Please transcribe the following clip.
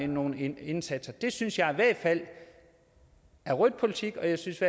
nogle indsatser synes jeg i hvert fald er rød politik og jeg synes